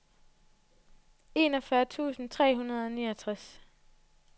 enogfyrre tusind tre hundrede og niogtres